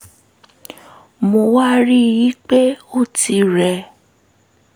mo wá rí i pé ó ti rẹ̀